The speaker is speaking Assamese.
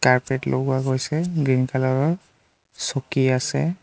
কাৰ্পেট লগোৱা গৈছে গ্ৰীণ কালাৰ ৰ চকী আছে।